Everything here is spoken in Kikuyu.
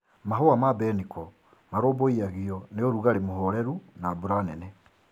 Mahũa ma mbeniko marũmbũiagio ni ũrũgarũ mũhoreru na mbura nene.